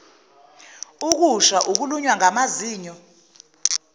ukusha ukulunywa ngamazinyo